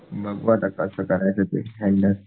बघ बाबा कस करायचं हँडल